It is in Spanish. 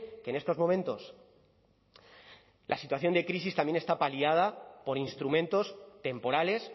que en estos momentos la situación de crisis también está paliada por instrumentos temporales